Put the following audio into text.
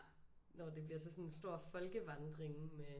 Når det bliver sådan en stor folkevandring med